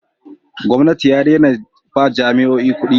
gwamnati ya dena ba jami'oyi kudi